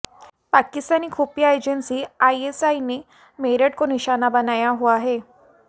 पाकिस्तानी खुफिया agency ISI ने मेरठ को निशाना बनाया हुआ है